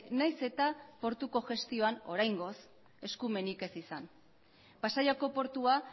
nahiz eta portuko gestioan oraingoz eskumenik ez izan pasaiako portua